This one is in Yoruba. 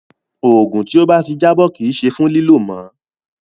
Òògùn tí ó bá ti jábọ́ kì í ṣe fún lílò mọ́.